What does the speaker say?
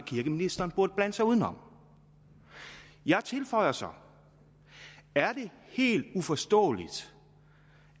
kirkeministeren burde blande sig uden om jeg tilføjer så er det helt uforståeligt